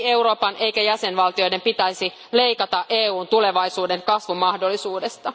Ei Euroopan eikä jäsenvaltioiden pitäisi leikata EUn tulevaisuuden kasvumahdollisuudesta.